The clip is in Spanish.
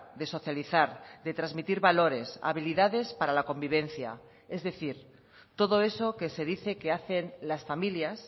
de socializar de transmitir valores habilidades para la convivencia es decir todo eso que se dice que hacen las familias